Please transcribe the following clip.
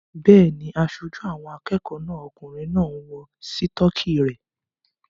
Bẹ́ẹ̀ni, aṣojú àwọn akẹ́kọ̀ọ́ náà okùnrin náà ń wọ sítọ́kì rẹ̀